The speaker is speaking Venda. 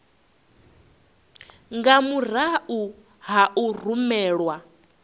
nga murahu ha u rumelwa